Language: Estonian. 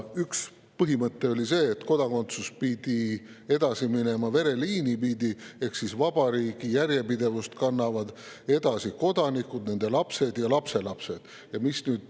Üks põhimõte oli see, et kodakondsus pidi edasi minema vereliini pidi ehk vabariigi järjepidevust kannavad edasi kodanikud, nende lapsed ja lapselapsed.